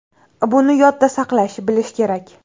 Buni yodda saqlash, bilish kerak.